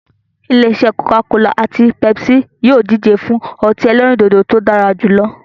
Ilé-isẹ́ "Coca-cola" àti "Pepsi" yìí ó díje fún ọtí ẹlẹ́rìndòdò tí ó dára jù lọ.